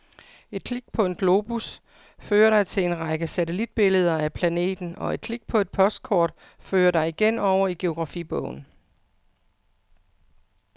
Et klik på en globus fører dig til en række satellitbilleder af planeten, og et klik på et postkort fører dig igen over i geografibogen.